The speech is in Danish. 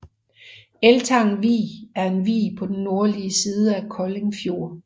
Eltang Vig er en vig på den nordlige side af Kolding Fjord